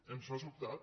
ens ha sobtat